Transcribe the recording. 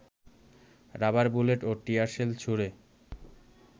rubber bullet ও tear shell ছুড়ে